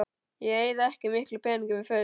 Ég eyði ekki miklum peningum í föt